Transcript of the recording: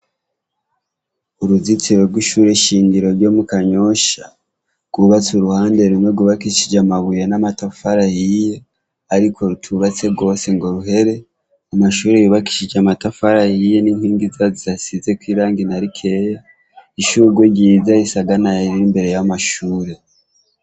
Uruzitsiro rw'ishure ishingiro ryo mu kanyosha, rwubatse uruhande rumwe gubakishije amabuye n'amatafara yiye, ariko rutubatse rwose ngo ruhere amashuri yubakishije amatafara yiye n'inkingi zazasize koirangina ri keya ishugu ryiza risagana iriri imbere y’amashure.